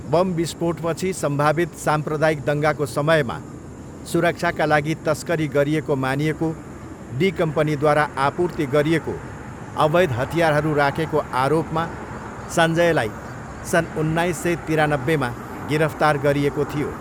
Bomb विस्फोटपछि सम्भावित साम्प्रदायिक दङ्गाको समयमा सुरक्षाका लागि तस्करी गरिएको मानिएको डी कम्पनीद्वारा आपूर्ति गरिएको अवैध हतियारहरू राखेको आरोपमा सञ्जयलाई सन् उन्नाइस सय तिरानब्बेमा गिरफ्तार गरिएको थियो।